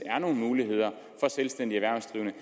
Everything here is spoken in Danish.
selvstændig erhvervsdrivende